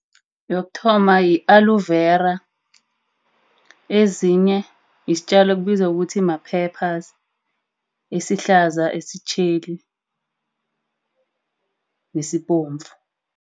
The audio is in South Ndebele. Yokuthoma yi-aloe vera. Ezinye yisitjalo ekubizwa ukuthi ma-peppers esihlaza, esitjheli nesibomvu.